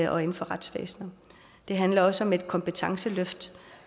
og inden for retsvæsenet det handler også om et kompetenceløft